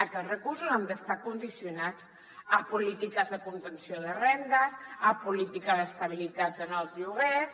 aquests recursos han d’estar condicionats a polítiques de contenció de rendes a polítiques d’estabilitat en els lloguers